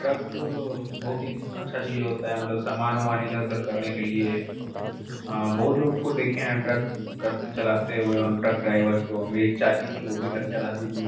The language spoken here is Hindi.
ट्रक बहुत ही अच्छा चीज होता है मतलब सामान वमान इधर-उधर करने के लिए बहुत लोग को देखे हैं ट्रक कर चलाते हुए और ट्रक ड्राइवर्स को मेरी चाची थी वो भी ट्रक चलाती थी।